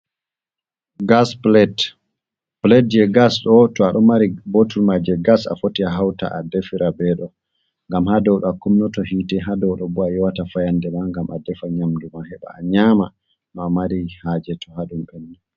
Gas plate, plate je gas ɗo to a ɗo mari bottle man je gas a foti a hauta a defira ɓe ɗo, ngam ha dow do a kunnata hiite, ha dow ɗo bo a yewata fayande ma, ngam a defa nyamduma heɓa a nyama nou amari haje.